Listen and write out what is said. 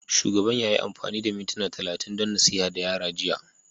Shugaban ya yi amfani da mintuna talatin don nasiha ga yara jiya